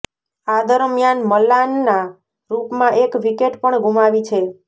આ દરમ્યાન મલાનના રુપમાં એક વિકેટ પણ ગુમાવી છે